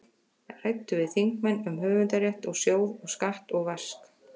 Ræddu við þingmenn um höfundarrétt og sjóð og skatt og vask.